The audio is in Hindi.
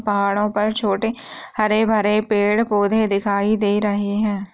पहाड़ों पर छोटे हरे-भरे पेड़-पौधे दिखाई दे रहे हैं।